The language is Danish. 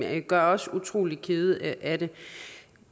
gør os utrolig kede af det